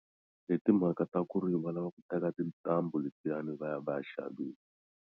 Hi timhaka ta ku ri va lava ku teka tintambu letiyani va ya va ya xavisa.